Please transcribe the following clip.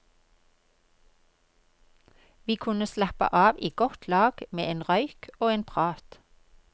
Vi kunne slappe av i godt lag med en røyk og en prat.